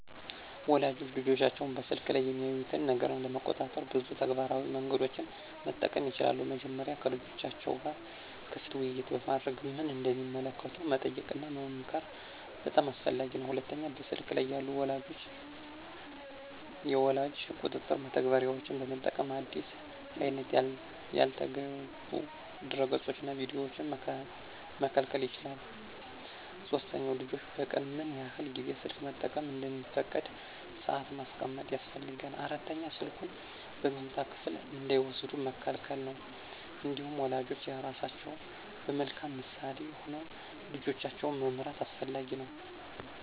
ወላጆች ልጆቻቸው በስልክ ላይ የሚያዩትን ነገር ለመቆጣጠር ብዙ ተግባራዊ መንገዶችን መጠቀም ይችላሉ። መጀመሪያ ከልጆቻቸው ጋር ክፍት ውይይት በማድረግ ምን እንደሚመለከቱ መጠየቅና መመክር በጣም አስፈላጊ ነው። ሁለተኛ በስልክ ላይ ያሉ የወላጅ ቁጥጥር መተግበሪያዎችን በመጠቀም አዲስ አይነት ያልተገቡ ድረገፆችንና ቪዲዮዎችን መከልከል ይቻላል። ሶስተኛ ልጆች በቀን ምን ያህል ጊዜ ስልክ መጠቀም እንደሚፈቀድ ሰአት ማስቀመጥ ያስፈልጋል። አራተኛ ስልኩን በመኝታ ክፍል እንዳይወስዱ መከልከል ነው። እንዲሁም ወላጆች ራሳቸው በመልካም ምሳሌ ሆነው ልጆቻቸውን መምራት አስፈላጊ ነው።